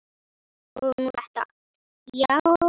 Og nú þetta, já.